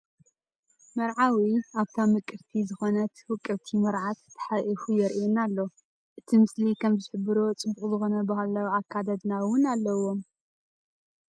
መርዓዊ ኣብታ ምቅርቲ ዝኮነት ውቅብቲ መርዓት ታሓቁፉ የረኤና ኣሎ ። እቲ ምስሊ ከም ዝሕብሮ ፅቡቅ ዝኮነ ባህላዊ ኣከዳድና እውን አለዎም።